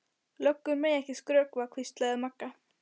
Löggur mega ekki skrökva, hvíslaði Magga.